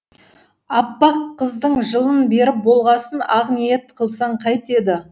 аппаққыздың жылын беріп болғасын ақ ниет қылсаң қайтеді